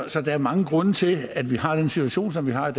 der er mange grunde til at vi har den situation som vi har